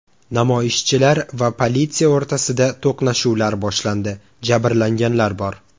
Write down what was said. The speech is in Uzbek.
Namoyishchilar va politsiya o‘rtasida to‘qnashuvlar boshlandi, jabrlanganlar bor.